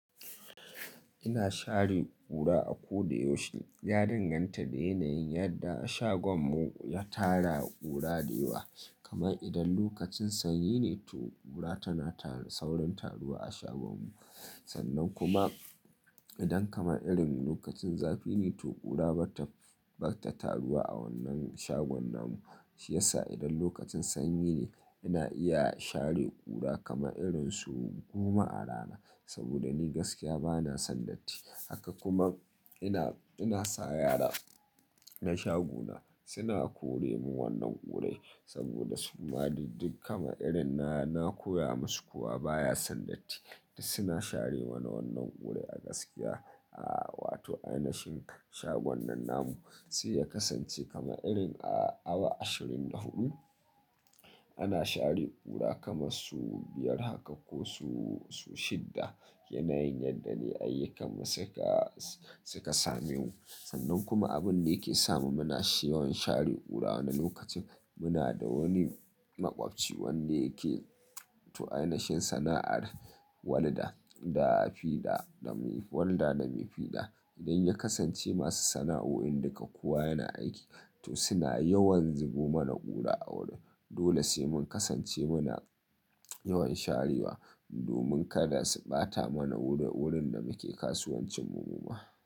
Ina share ƙura a ko da yaushe. Ya danganta da yanayin yadda shagon mu ya tara ƙura da yawa. Kamar idan lokacin sanyi ne to ƙura tana tarin saurin taruwa a shagon mu. Sannan kuma idan kamar irin lokacin zafi ne to ƙura ba ta, ba ta taruwa a wannan shagon namu. Shi yasa idan lokacin sanyi ne ina iya share ƙura kama irin su goma a rana. Saboda ni gaskiya bana son datti. Haka kuma ina, ina sa yara na shaguna suna kore mu wannan ƙurai saboda su kuma duk kama irin na, na koya masu kuwa baya son datti. Duk suna share mana wannan ƙurai a gaskiya, a, wato a yanayin shagunan namu. Sai ya kasance kama irin a awa ashirin da huɗu ana share ƙura kaman sau biyar haka ko sau, sau shidda. Yanayin yadda ne ayyukansu suka, suka same mu. Sannan kuma abin da yake sa mu muna shewan share ƙura wani lokacin muna da wani makwabci wanda yake to a yanayin sana'ar walda da fiɗa, walda da mai fiɗa. Idan ya kasance masu sana'o'in duka kuwa yana aiki to suna yawan zubo mana ƙura a wuri. Dole sai mun kasance muna yawan sharewa domin kada su ɓata mana wurin, wurin da muke kasuwancin mu kuma.